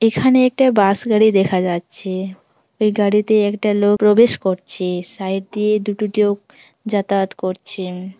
এখানে একটা বাস গাড়ি দেখা যাচ্ছে | এই গাড়িতে একটা লোক প্রবেশ করছে| সাইড দিয়ে দুটো লোক যাতায়াত করছেন ।